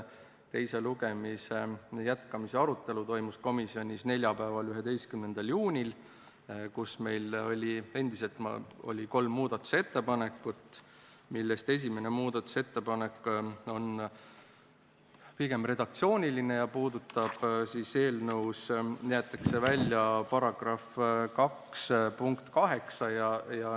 Teise lugemise jätkamise arutelu toimus komisjonis neljapäeval, 11. juunil, kus meil oli endiselt kolm muudatusettepanekut, millest esimene on pigem redaktsiooniline ja puudutab seda, et eelnõust jäetakse välja § 2 punkt 8.